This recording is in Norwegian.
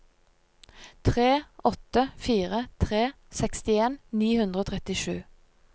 tre åtte fire tre sekstien ni hundre og trettisju